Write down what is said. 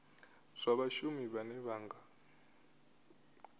zwa vhashumi vhane vha nga